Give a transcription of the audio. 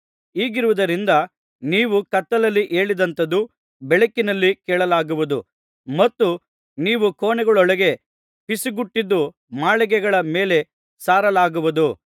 ಹೀಗಿರುವುದರಿಂದ ನೀವು ಕತ್ತಲಲ್ಲಿ ಹೇಳಿದಂಥದು ಬೆಳಕಿನಲ್ಲಿ ಕೇಳಲಾಗುವುದು ಮತ್ತು ನೀವು ಕೋಣೆಗಳೊಳಗೆ ಪಿಸುಗುಟ್ಟಿದ್ದು ಮಾಳಿಗೆಗಳ ಮೇಲೆ ಸಾರಲಾಗುವುದು